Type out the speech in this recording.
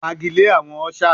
Fagilee awọn ushers